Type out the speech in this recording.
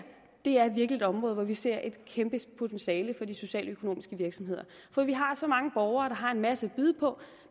virkelig er et område hvor vi ser et kæmpe potentiale for de socialøkonomiske virksomheder for vi har så mange borgere der har en masse at byde på